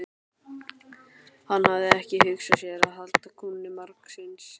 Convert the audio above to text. Hann hafði ekki hugsað sér að halda kúnni margsinnis.